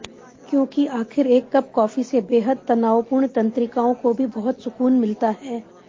क्योंकि आखिर एक कप कॉफी से बेहद तनावपूर्ण तंत्रिकाओं को भी बहुत सुकून मिलता है